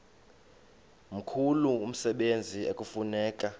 mkhulu umsebenzi ekufuneka